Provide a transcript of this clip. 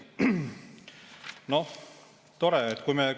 Noh, tore!